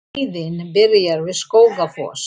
Leiðin byrjar við Skógafoss.